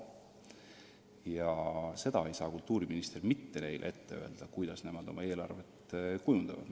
Ja seda ei saa kultuuriminister neile mitte ette öelda, kuidas nemad oma eelarvet kujundavad.